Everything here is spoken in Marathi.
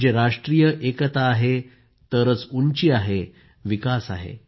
म्हणजे राष्ट्रीय एकता आहे तरच उंची आहे विकास आहे